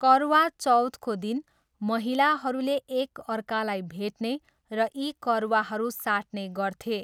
करवा चौथको दिन महिलाहरूले एक अर्कालाई भेट्ने र यी करवाहरू साट्ने गर्थे।